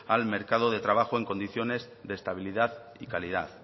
al mercado de trabajo en condiciones de estabilidad y calidad